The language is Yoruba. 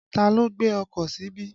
Ta ló gbé ọkọ̀ síbí?